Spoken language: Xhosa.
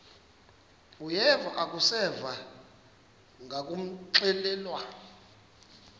uyeva akuseva ngakuxelelwa